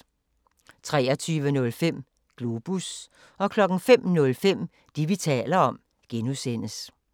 23:05: Globus 05:05: Det, vi taler om (G)